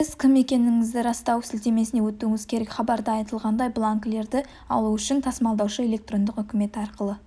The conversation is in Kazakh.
сіз кім екендігіңізді растау сілтемесіне өтуіңіз керек хабарда айтылғандай бланкілерді алу үшін тасымалдаушы электрондық үкіметі арқылы